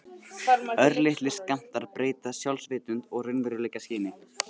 Örlitlir skammtar breyta sjálfsvitund og raunveruleikaskyni.